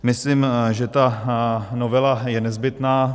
Myslím, že ta novela je nezbytná.